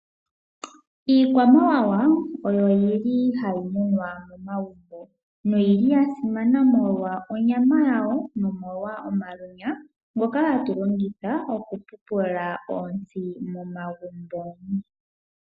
Iikwamawawa oyo yili hayi munwa momagumbo, noyili ya simana molwa onyama yawo ,nomolwa omalwenya ngoka hatu longitha oku pupula oontsi momagumbo.